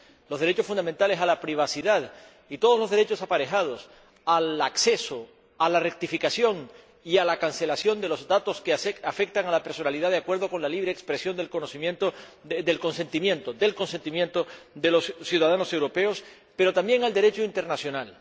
los derechos fundamentales a la privacidad y todos los derechos aparejados al acceso a la rectificación y a la cancelación de los datos que afectan a la personalidad de acuerdo con la libre expresión del consentimiento de los ciudadanos europeos, pero también con el Derecho internacional.